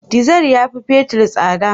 Dizar yafi fetir tsada.